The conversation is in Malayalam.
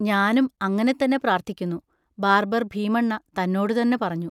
ഞാനും അങ്ങനെതന്നെ പ്രാർത്ഥിക്കുന്നു, ബാർബർ ഭീമണ്ണ തന്നോടുതന്നെ പറഞ്ഞു.